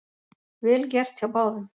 Vel gert hjá báðum